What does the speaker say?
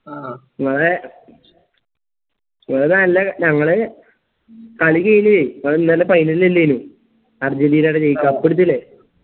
ആ ഞങ്ങളേ ഞങ്ങളെ നല്ലെ ഞങ്ങളെ കളി കയിഞ്ഞേ ഇന്നലെ final ൽ ഇല്ലേയ്നു അർജന്റീനിടെടെ ജയി cup അടിച്ചില്ലേ